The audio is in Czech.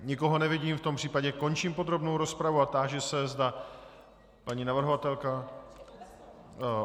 Nikoho nevidím, v tom případě končím podrobnou rozpravu a táži se, zda paní navrhovatelka?